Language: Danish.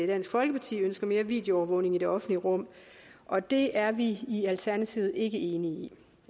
dansk folkeparti ønsker mere videoovervågning i det offentlige rum og det er vi i alternativet ikke enige